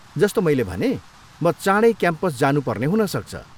जस्तो मैले भनेँ, म चाँडै क्याम्पस जानुपर्ने हुनसक्छ।